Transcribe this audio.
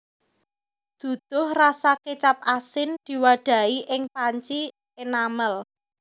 Duduh rasa kecap asin diwadhahi ing panci enamel